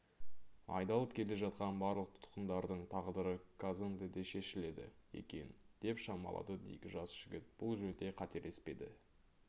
айдалып келе жатқан барлық тұтқындардың тағдыры казондеде шешіледі екен деп шамалады дик жас жігіт бұл жөнде қателеспеді